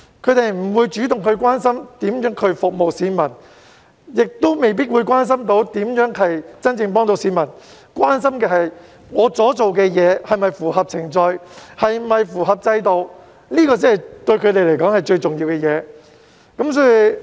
他們不會主動關心如何服務市民，亦未必會關心如何能真正幫助市民，關心的只是他們所做的事是否符合程序和制度，這對他們來說才是最重要的事情。